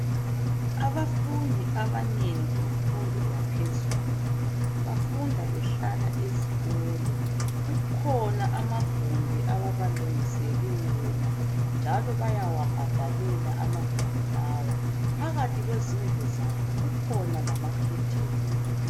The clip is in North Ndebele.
Abafundi abanengi bemfundo yaphezulu bafunda behlala ezikolo. Kukhona amagumbi ababalungisele wona njalo bayawabhadalela amagumbi lawa. Phakathi kwezindlu zabo kukhona lamakhetheni.